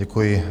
Děkuji.